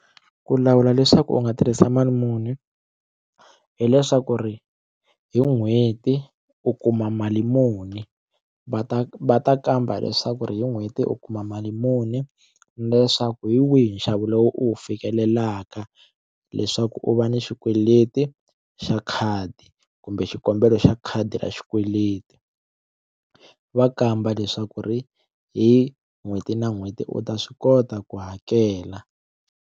Ku lawula leswaku u nga tirhisa mali muni hileswaku ri hi n'hweti u kuma mali muni va ta va ta kamba leswaku ri hi n'hweti u kuma mali muni leswaku hi wihi nxavo lowu u wu fikelelaka leswaku u va ni xikweleti xa khadi kumbe xikombelo xa khadi ra xikweleti va kamba leswaku ri hi n'hweti na n'hweti u ta swi kota ku hakela.